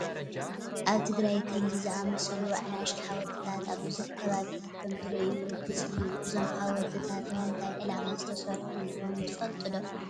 ኣብ ትግራይ ከምዚ ዝኣምሰሉ ኣናእሽቱ ሓወልትታት ኣብ ብዙሕ ከባብታት ከምትርእዩ ርግፅ እዩ፡፡ እዞም ሓወልትታት ንምንታይ ዕላማ ዝተሰርሑ ከምዝኾኑ ትፈልጡ ዶ?